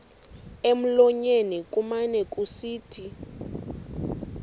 emlonyeni kumane kusithi